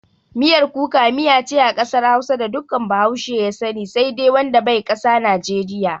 Miyar Kuka miya ce a kasar hausa da dukkan bahaushe ya sani, sai dai wanda bai ƙasa najeriya.